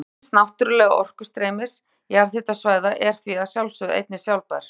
Nýting hins náttúrlega orkustreymis jarðhitasvæða er því að sjálfsögðu einnig sjálfbær.